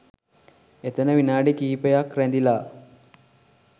එතන විනාඩි කිහිපයක් රැඳිලා